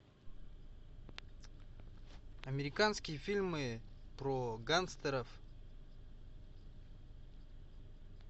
американские фильмы про гангстеров